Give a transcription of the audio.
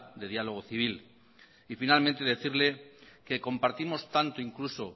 de diálogo civil y finalmente decirle que compartimos tanto incluso